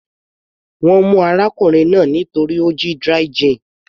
Wọ́n mú arákùnrin náà torí ó jí dry gin.